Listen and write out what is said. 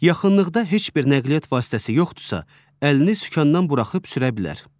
Yaxınlıqda heç bir nəqliyyat vasitəsi yoxdursa əlini sükandan buraxıb sürə bilər.